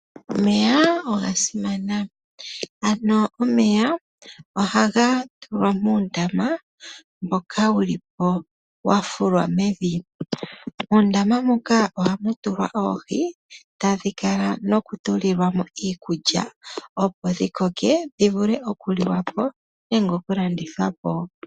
Omeya oga simana. Ano omeya ohaga tulwa moondama, moka ulipo wa fulwa mevi. Moondama muka ohamu tula oohi, hadhi kala no kutulilwa mo iikulya opo dhi koke dhi vule oku tulwa po nenge oku landthwa po.